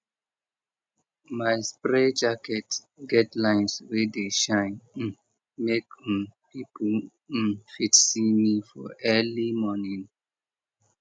my spray jacket get lines wey dey shine um make um people um fit see me for early morning